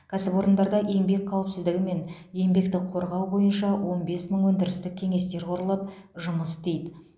кәсіпорындарда еңбек қауіпсіздігі мен еңбекті қорғау бойынша он бес мың өндірістік кеңестер құрылып жұмыс істейді